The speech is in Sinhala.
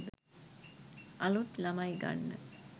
අලුත් ළමයි ගන්න